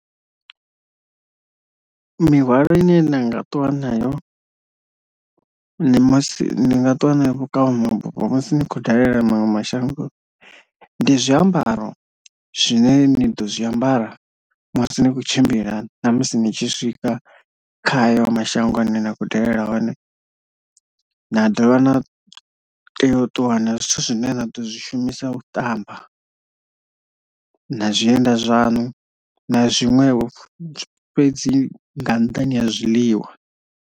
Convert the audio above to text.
Mihwalo ine nda nga ṱuwa nayo nṋe masi ndi nga ṱuwa na yo vhukavhamabufho musi ndi khou dalela maṅwe mashango ndi zwiambaro zwine ndi ḓo zwiambara musi ni tshi kho tshimbila na musi ni tshi swika kha hayo mashango ane nda kho dalela one, na dovha na tea u ṱuwa na zwithu zwine na ḓo zwi shumisa u ṱamba na zwienda zwaṋu na zwiṅwevho fhedzi nga nnḓani ha zwiḽiwa.